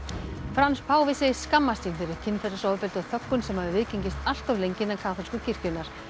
Frans páfi segist skammast sín fyrir kynferðisofbeldi og þöggun sem hafi viðgengist allt of lengi innan kaþólsku kirkjunnar